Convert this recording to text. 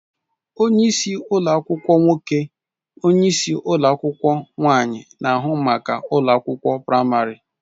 Onye isi ụlọ akwụkwọ nwoke / onyeisi ụlọ akwụkwọ nwaanyị na-ahụ maka ụlọ akwụkwọ praịmarị.